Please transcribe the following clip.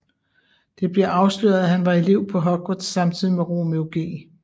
Det bliver afsløret at han var elev på Hogwarts samtidig med Romeo G